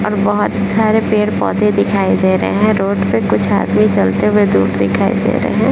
और बहुत सारे पेड़-पौधे दिखाई दे रहे हैं रोड पे कुछ आदमी चलते हुए दूर दिखाई दे रहे हैं।